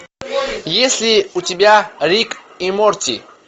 есть ли у тебя рик и морти